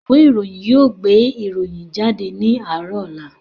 Ìwé ìròyìn yóò gbé ìròyìn jáde ní àárọ̀ ọ̀la